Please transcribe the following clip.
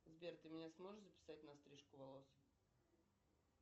сбер ты меня сможешь записать на стрижку волос